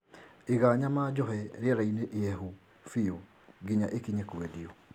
Iga nyama njohe rĩerainĩ ihehu biũ nginya ĩkinye kwendio